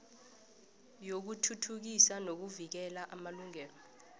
yokuthuthukisa nokuvikela amalungelo